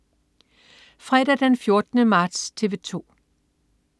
Fredag den 14. marts - TV 2: